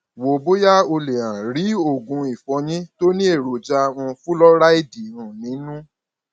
wo bóyá o lè um rí oògùn ìfọyín tó ní èròjà um fúlọráìdì um nínú